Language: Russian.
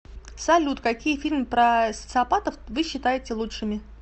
салют какие фильмы про социопатов вы считаете лучшими